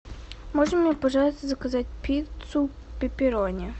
можно мне пожалуйста заказать пиццу пепперони